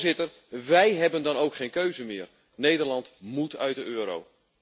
Voorzitter, wij hebben dan ook geen keuze meer Nederland móet uit de euro.